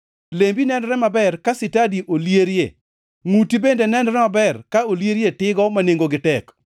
Lembi nenore maber ka sitadi olierie; ngʼuti bende nenore maber ka olierie tigo ma nengogi tek.